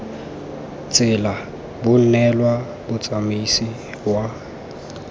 tsela bo neelwa motsamaisi wa